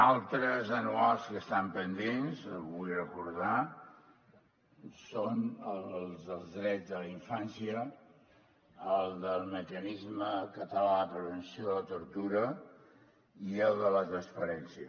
altres anuals que estan pendents vull recordar són els dels drets de la infància el del mecanisme català de prevenció de la tortura i el de la transparència